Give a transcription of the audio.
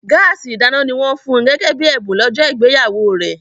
Gáàsì ìdáná ni wọ́n fun gẹ́gẹ́ bí ẹ̀bùn lọ́jọ́ ìgbéyàwó rẹ̀